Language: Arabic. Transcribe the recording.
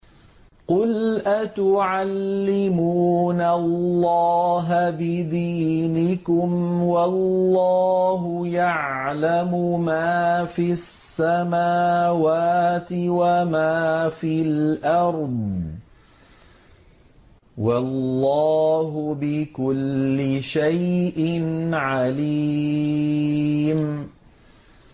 قُلْ أَتُعَلِّمُونَ اللَّهَ بِدِينِكُمْ وَاللَّهُ يَعْلَمُ مَا فِي السَّمَاوَاتِ وَمَا فِي الْأَرْضِ ۚ وَاللَّهُ بِكُلِّ شَيْءٍ عَلِيمٌ